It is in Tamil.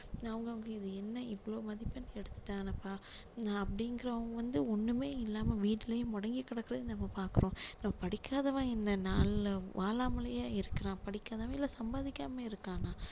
அவங்க அவங்க இது என்ன இவ்ளோ மதிப்பெண் எடுத்துட்டானப்பா நா~அப்படிங்கிறவங்க வந்து ஒண்ணுமே இல்லாம வீட்டுலயே முடங்கி கிடக்கிறதையும் நம்ம பாக்குறோம் படிக்காதவன் இந்த நாள்ல வாழாமலையா இருக்குறான் இல்ல சம்பாதிகாம இருக்கானா